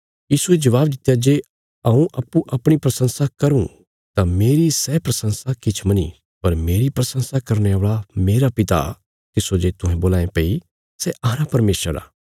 यीशुये जबाब दित्या जे हऊँ अप्पूँ अपणी प्रशंसा करूँ तां मेरी सै प्रशंसा किछ मनी पर मेरी प्रशंसा करने औल़ा मेरा पिता तिस्सो जे तुहें बोल्लां ये भई सै अहांरा परमेशर आ